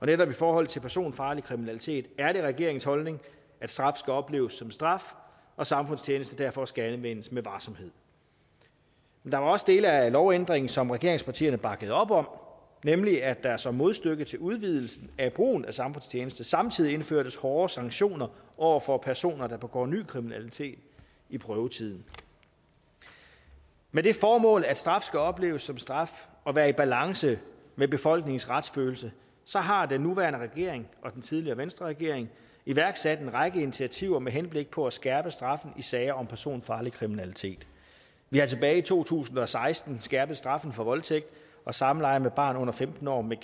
netop i forhold til personfarlig kriminalitet er regeringens holdning at straf skal opleves som straf og samfundstjeneste derfor skal anvendes med varsomhed der var også dele af lovændringen som regeringspartierne bakkede op om nemlig at der som modstykke til udvidelsen af brugen af samfundstjeneste samtidig indførtes hårdere sanktioner over for personer der begår ny kriminalitet i prøvetiden med det formål at straf skal opleves som straf og være i balance med befolkningens retsfølelse har den nuværende regering og den tidligere venstreregering iværksat en række initiativer med henblik på at skærpe straffen i sager om personfarlig kriminalitet vi har tilbage i to tusind og seksten skærpet straffen for voldtægt og samleje med et barn under femten år med